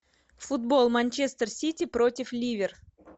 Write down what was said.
футбол манчестер сити против ливер